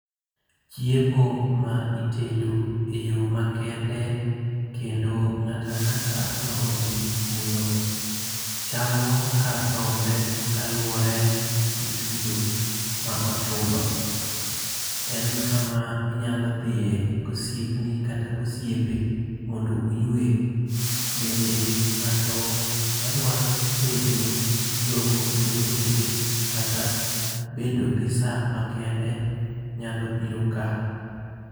Chiemo ma itedo e yo makende kendo ng'ato ang'ata ma odhi kuno chamo kar rombe kaluwore gi chudo ma ochulo. En kama inyalo dhiye gi osiepni kata osiepe mondo uywe. Bende ng'ato madwaro bedo gi romo gi jowetege kata bedo gi sa makende nyalo biro ka.